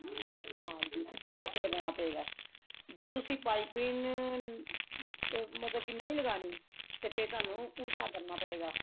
ਹਾਂਜੀ ਸਿੱਧੇ ਪਾਸੇ ਲਗਾਉਣਾ ਪਵੇਗਾ ਜੇ ਤੁਸੀਂ ਪਾਈਪਿੰਨ ਮਤਲਬ ਕੇ ਨਹੀਂ ਲਗਾਉਣੀ ਤਰ ਫ਼ੇਰ ਤੁਹਾਨੂੰ ਉਲਟਾ ਕਰਨਾ ਪਵੇਗਾ